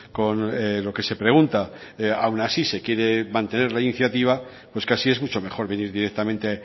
con lo que se pregunta aun así se quiere mantener la iniciativa pues casi es mucho mejor venir directamente